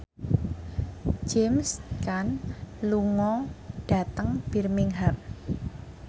James Caan lunga dhateng Birmingham